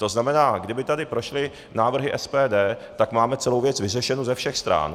To znamená, kdyby tady prošly návrhy SPD, tak máme celou věc vyřešenu ze všech stran.